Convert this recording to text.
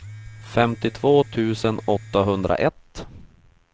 femtiotvå tusen åttahundraett